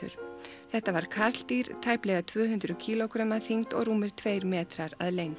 þetta var karldýr tæplega tvö hundruð kílógrömm að þyngd og rúmir tveir metrar að lengd